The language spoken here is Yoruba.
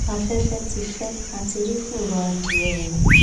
afẹfẹ ti fẹ á ti rí fùrọ adìẹ o